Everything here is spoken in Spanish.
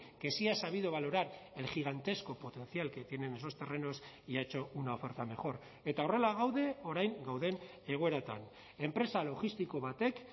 que sí ha sabido valorar el gigantesco potencial que tienen esos terrenos y ha hecho una oferta mejor eta horrela gaude orain gauden egoeratan enpresa logistiko batek